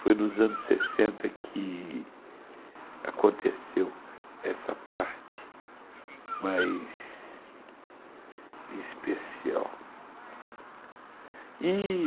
Foi nos anos sessenta que aconteceu essa parte mais especial.